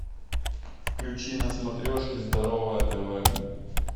включи на смотрешке здоровое тв